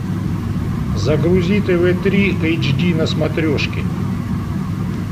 загрузи тв три эйч ди на смотрешке